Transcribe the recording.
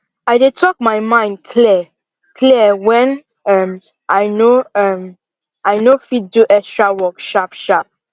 i dey talk my mind clear clear when um i no um i no fit do extra work sharp sharp